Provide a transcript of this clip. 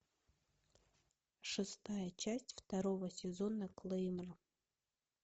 шестая часть второго сезона клеймор